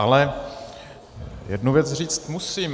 Ale jednu věc říct musím.